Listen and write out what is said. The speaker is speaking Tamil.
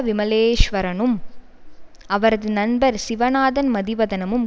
விமலேஸ்வரனும் அவரது நண்பர் சிவநாதன் மதிவதனமும்